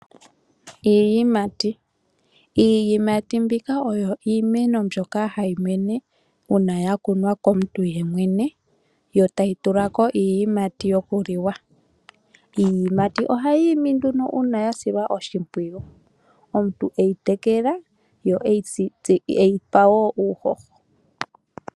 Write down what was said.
Iiyimati oyo iimeno mbyoka hayi mene uuna yakunwa komuntu yemwene . Yo tayi tulako iiyimati yokuliwa. Iiyimati Ohayi imi nduno uuna yasilwa oshimpwiyu . Omuntu eyi tekela, ye eyi pa wo uuhoho.